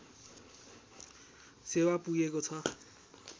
सेवा पुगेको छ